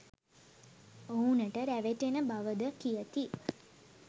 ඔවුනට රැවටෙන බව ද කියති